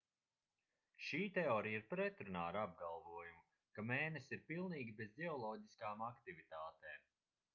šī teorija ir pretrunā ar apgalvojumu ka mēness ir pilnīgi bez ģeoloģiskām aktivitātēm